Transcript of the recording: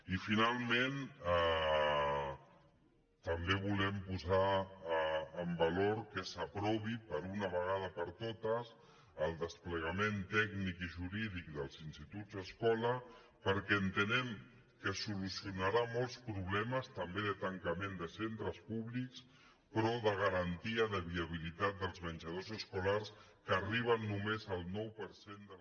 i finalment també volem posar en valor que s’aprovi d’una vegada per totes el desplegament tècnic i jurí·dic dels instituts escola perquè entenem que solucio·narà molts problemes també de tancament de centres públics però de garantia de viabilitat dels menjadors escolars que arriben només al nou per cent de la